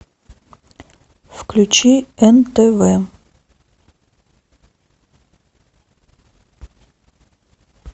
включи нтв